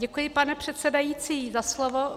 Děkuji, pane předsedající, za slovo.